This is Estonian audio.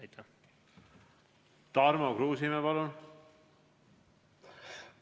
Tarmo Kruusimäe, palun!